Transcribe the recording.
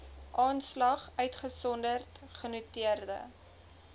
aanslag uitgesonderd genoteerde